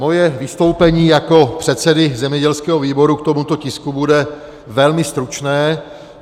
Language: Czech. Moje vystoupení jako předsedy zemědělského výboru k tomuto tisku bude velmi stručné.